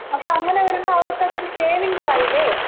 അപ്പോ അങ്ങനെ വരുമ്പോ അവർക്ക് അതൊരു സേവിങ്സ് ആയില്ലേ?